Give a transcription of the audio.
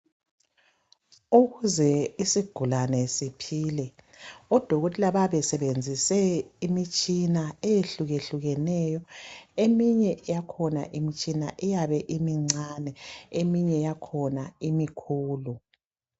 Ukuze isigulane siphile, oDokotela bayabe besebenzise imitshina eyehluyehlukeneyo, eminye kakhona iyabe imncane eyinye yakhona imkhulu.